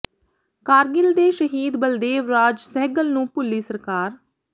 ਕਾਰਗਿਲ ਦੇ ਸ਼ਹੀਦ ਬਲਦੇਵ ਰਾਜ ਸਹਿਗਲ ਨੂੰ ਭੁੱਲੀ ਸਰਕਾਰ